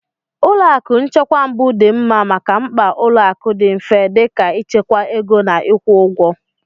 Ụlọ akụ nchekwa mbụ dị mma maka mkpa ụlọ akụ dị mfe dị ka ịchekwa ego na ịkwụ ụgwọ.